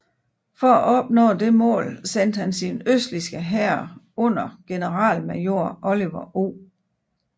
For at opnå dette mål sendte han sin østligste hær under generalmajor Oliver O